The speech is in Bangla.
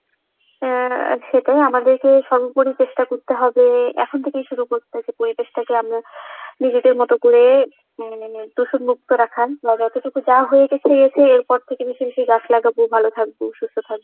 আহ সেটাই আমাদেরকে সর্বোপরি চেষ্টা করতে হবে এখন থেকেই শুরু করতে পরিবেশটাকে আমরা নিজেদের মতো করে উম দূষণ মুক্ত রাখার, বা যতটুকু যা হয়ে গেছে গেছে এরপর থেকে বেশি বেশি গাছ লাগাবো ভালো থাকবো সুস্থ থাকবো,